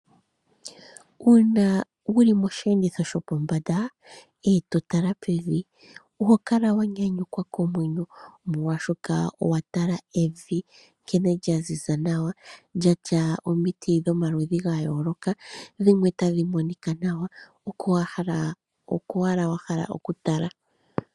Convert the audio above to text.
Uuna wuli mosheenditho shopombanda , eto tala pevi, oho kala wanyanyukwa komwenyo, moolwashoka owa tala evi nkene lya ziza nawa lyatya omiti dhomaludhi gayooloka, dhimwe tadhi monika nawa, oko owala wahala oku tala.